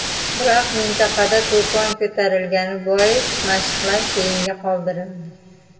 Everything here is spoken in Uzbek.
Biroq, mintaqada to‘fon ko‘tarilgani bois, mashqlar keyinga qoldirildi.